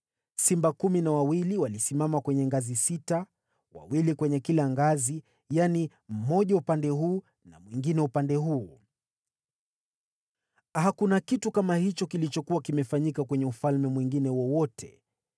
Simba kumi na wawili walisimama kwenye ngazi sita, mmoja katika kila upande wa kila ngazi. Hakuna kitu kama hicho kilichokuwa kimefanyika kwenye ufalme mwingine wowote.